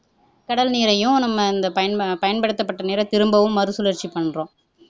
கடல் நீரையும் நம்ம இந்த பயன் பயன்படுத்தப்பட்ட நீரை திரும்பவும் மறு சுழற்சி பண்றோம்